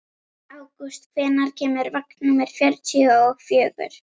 Ágúst, hvenær kemur vagn númer fjörutíu og fjögur?